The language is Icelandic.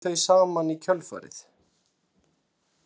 Þau hættu þau saman í kjölfarið